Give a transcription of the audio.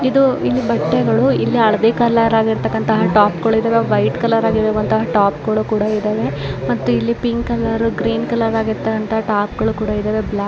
ಇದು ಇಲ್ಲಿ ಬಟ್ಟೆಗಳು ಇಲ್ಲಿ ಹಳ್ದಿ ಕಲರ್ ಆಗಿರತಕ್ಕಂತ ಟಾಪ್ ಗಳು ಇದ್ದಾವೆ ವೈಟ್ ಕಲರ್ ಆಗಿರುವಂತಹ ಟಾಪ್ ಗಳು ಕೂಡ ಇದ್ದಾವೆ ಮತ್ತು ಇಲ್ಲಿ ಪಿಂಕ್ ಕಲರ್ ಗ್ರೀನ್ ಕಲರ್ ಆಗಿರತಕ್ಕಂತಹ ಟಾಪ್ ಗಳು ಕೂಡ ಇದ್ದಾವೆ ಬ್ಲಾಕ್ ಕಲರ್ --